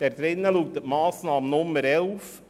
In diesem wird in der Massnahme Nummer 11 aufgeführt: